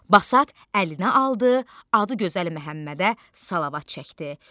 Basat əlinə aldı, adı gözəl Məhəmmədə salavat çəkdi.